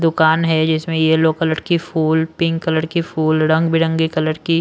दुकान है जिसमें येलो कलर की फूल पिंक कलर की फूल रंगबिरंगे कलर की--